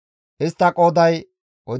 Istta qooday 41,500.